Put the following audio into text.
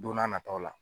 Don n'a nataw la